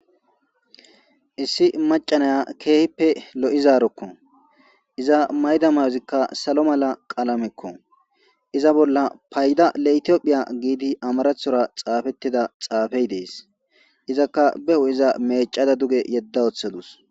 issi macanaya keehippe lo7i zaarokko iza mayda may7ozikka salo mala qaalamekko iza bolla payda la7tiophiya giidi amarathora xaafettida xaafey dees izakka behu iza mecada duge yedda wooththadus